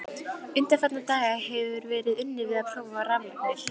Undanfarna daga hefir verið unnið við að prófa raflagnir.